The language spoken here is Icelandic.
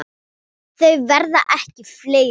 Þau verða ekki fleiri.